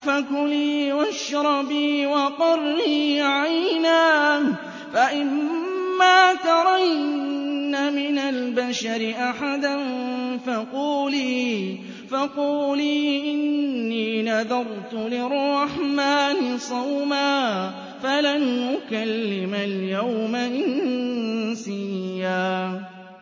فَكُلِي وَاشْرَبِي وَقَرِّي عَيْنًا ۖ فَإِمَّا تَرَيِنَّ مِنَ الْبَشَرِ أَحَدًا فَقُولِي إِنِّي نَذَرْتُ لِلرَّحْمَٰنِ صَوْمًا فَلَنْ أُكَلِّمَ الْيَوْمَ إِنسِيًّا